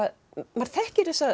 maður þekkir þessa